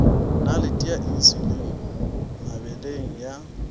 nalete ya insulin mebeleng ya